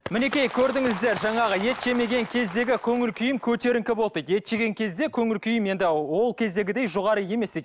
мінекей көрдіңіздер жаңағы ет жемеген кездегі көңіл күйім көтеріңкі болды дейді ет жеген кезде көңіл күйім енді ол кездегідей жоғары емес дейді